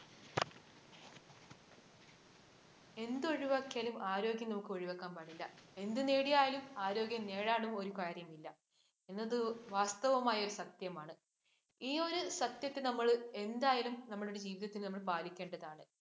എന്തൊഴിവാക്കിയാലും ആരോഗ്യം നമുക്ക് ഒഴിവാക്കാൻ പറ്റില്ല. എന്ത് നേടിയാലും ആരോഗ്യം നേടാതെ ഒരു കാര്യവും ഇല്ല. എന്നത് വാസ്തവമായ ഒരു സത്യമാണ്. ഈ ഒരു സത്യത്തെ നമ്മൾ എന്തായാലും നമ്മുടെ ജീവിതത്തിൽ നമ്മൾ പാലിക്കേണ്ടതാണ്.